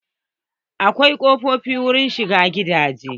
Akwai kofofi wurin shiga gidaje.